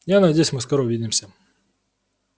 я надеюсь мы скоро увидимся